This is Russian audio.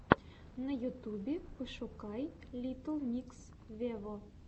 на ютюбе пошукай литтл микс вево